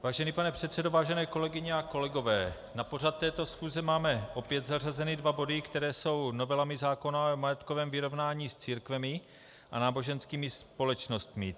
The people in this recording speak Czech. Vážený pane předsedo, vážené kolegyně a kolegové, na pořad této schůze máme opět zařazeny dva body, které jsou novelami zákona o majetkovém vyrovnání s církvemi a náboženskými společnostmi.